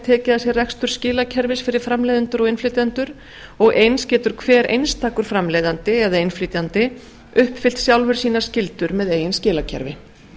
tekið að sér rekstur skilakerfis fyrir framleiðendur og innflytjendur og eins getur hver einstakur framleiðandi eða innflytjandi uppfyllt sjálfur sínar skyldur með eigin skilakerfi